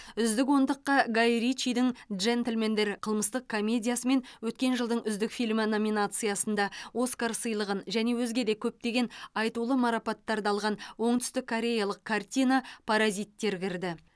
үздік ондыққа гай ричидің джентльмендер қылмыстық комедиясы мен өткен жылдың үздік фильмі номинациясында оскар сыйлығын және өзге де көптеген айтулы марапаттарды алған оңтүстік кореялық картина паразиттер кірді